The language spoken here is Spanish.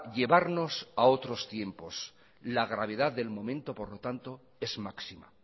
llevarnos a otros tiempos la gravedad del momento por lo tanto es máxima